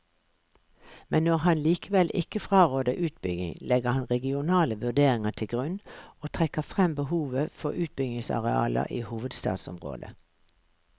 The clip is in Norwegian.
Men når han likevel ikke fraråder utbygging, legger han regionale vurderinger til grunn og trekker frem behovet for utbyggingsarealer i hovedstadsområdet.